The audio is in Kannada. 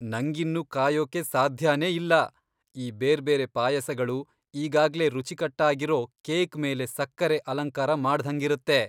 ನಂಗಿನ್ನು ಕಾಯೋಕೆ ಸಾಧ್ಯನೇ ಇಲ್ಲ, ಈ ಬೇರ್ಬೇರೆ ಪಾಯಸಗಳು ಈಗಾಗ್ಲೇ ರುಚಿಕಟ್ಟಾಗಿರೋ ಕೇಕ್ ಮೇಲೆ ಸಕ್ಕರೆ ಅಲಂಕಾರ ಮಾಡ್ದಂಗಿರತ್ತೆ.